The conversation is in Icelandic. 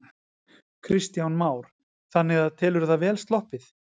Kristján Már: Þannig að telurðu það vel sloppið?